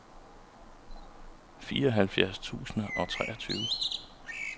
fireoghalvfjerds tusind og treogtyve